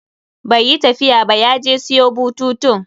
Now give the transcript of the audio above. Bai yi tafiya ba, ya je siyo bututun.